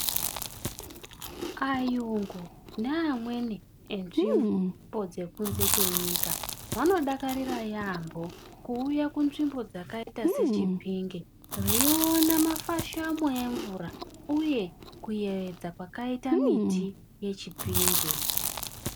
Ayungu neamweni enzvimbo dzekunze kwenyika, vanodakarira yaampo kuuya kunzvimbo dzakadai neChipinge veiona mafashamo emvura uye kuyevedza kwakaite miti yeChipinge.